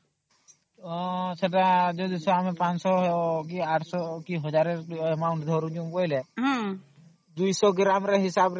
ସେତ ଆମେ 500 କି 800 କି 1000 Amount ଧରୁଛୁ ବୋଇଲେ 200 ଗ୍ରାମ